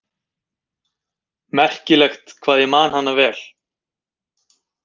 Merkilegt hvað ég man hana vel.